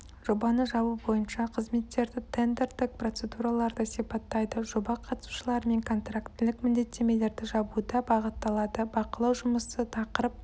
жобаны жабу бойынша қызметтерді тендердік процедураларды сипаттайды жоба қатысушыларымен контрактілік міндеттемелерді жабуда бағытталады бақылау жұмысы тақырып